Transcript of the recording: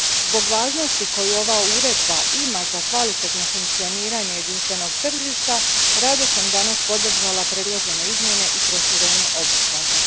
Zbog važnosti koju ova uredba ima za kvalitetno funkcioniranje jedinstvenog tržišta, rado sam danas podržala predložene izmjene i proširenje obuhvata.